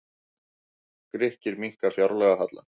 Grikkir minnka fjárlagahallann